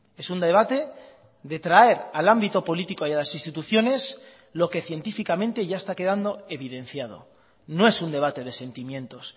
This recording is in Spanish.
es un debate de traer al ámbito político y a las instituciones lo que científicamente ya está quedando evidenciado no es un debate de sentimientos